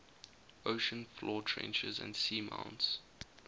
ocean floor trenches and seamounts